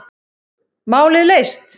Málið leyst.